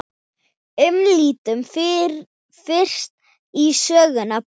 Lítum fyrst á sögnina brosa